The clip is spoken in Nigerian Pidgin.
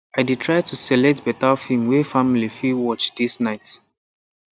i dey try to select better film way family fit watch this night